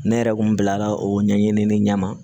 Ne yɛrɛ kun bilala o ɲɛɲini ne ɲɛ ma